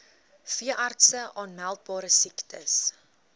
veeartse aanmeldbare siektes